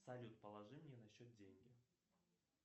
салют положи мне на счет деньги